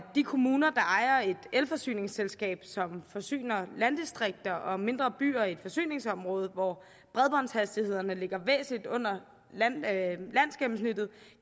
de kommuner der ejer et elforsyningsselskab som forsyner landdistrikter og mindre byer i et forsyningsområde hvor bredbåndshastighederne ligger væsentligt under landsgennemsnittet